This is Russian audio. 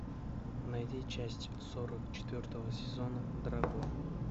найди часть сорок четвертого сезона дракула